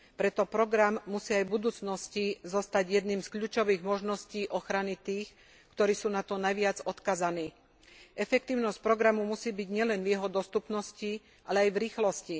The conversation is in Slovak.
Preto program musí aj v budúcnosti zostať jednou z kľúčových možností ochrany tých, ktorí sú na to najviac odkázaní. Efektívnosť programu musí byť nielen v jeho dostupnosti, ale aj v rýchlosti.